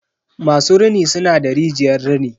masu rini suna da rijiyar rini.